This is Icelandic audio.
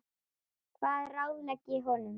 Hvað ráðlegg ég honum?